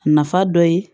A nafa dɔ ye